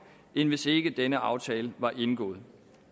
end hvis ikke denne aftale var indgået